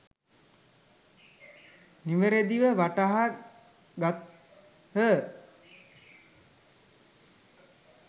නිවැරදිව වටහා ගත්හ.